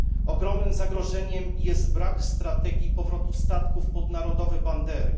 Ogromnym zagrożeniem jest brak strategii powrotu statków pod narodowe bandery.